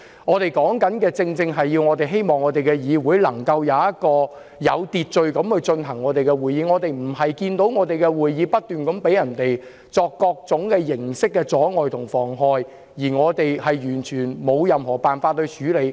我們正正希望議會能有秩序地舉行會議，並不希望會議遭受各種形式的阻礙和妨害，而我們完全沒有任何辦法處理。